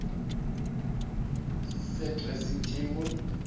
se dressing table